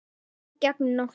Ferð gegnum nóttina